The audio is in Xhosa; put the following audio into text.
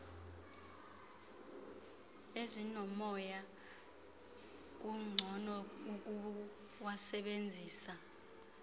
ezinomoya kungcono ukuwasebenzisa